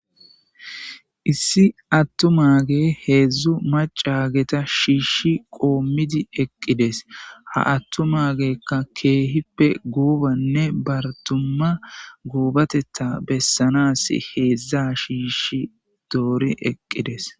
issi attumaage heedzdzu macageta shiishi qoommidi eqqides ha attumaagekka keehippe guubanne bartumma guubatetta bessanas heedzdza shiishi doori eqqides